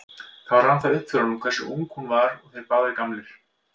Þá rann það upp fyrir honum hversu ung hún var og þeir báðir gamlir.